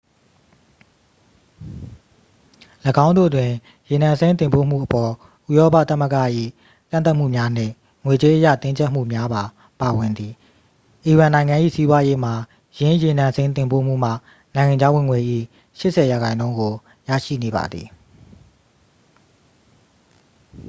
၎င်းတို့တွင် ရေနံစိမ်းတင်ပို့မှုအပေါ် ဥရောပသမ္မဂ၏ ကန့်သတ်မှုများနှင့် ငွေကြေးအရ တင်းကြပ်မှုများပါ ပါဝင်သည် အီရန်နိုင်ငံ၏ စီးပွားရေးမှာ ယင်းရေနံစိမ်းတင်ပို့မှုမှ နိုင်ငံခြားဝင်ငွေ၏ 80% ကို ရရှိနေပါသည်